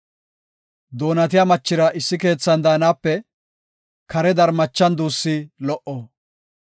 Doonatiya machira issi keethan daanape kare darmachan duussi lo77o.